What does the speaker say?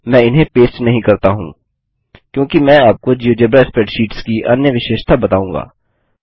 मैं इन्हें पेस्ट नहीं करता हूँ क्योंकि मैं आपको जियोजेब्रा स्प्रैडशीट्स की अन्य विशेषता बताऊँगा